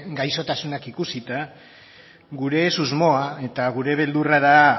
gaixotasunak ikusita gure susmoa eta gure beldurra da